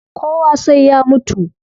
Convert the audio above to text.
Kowa sai ya mutu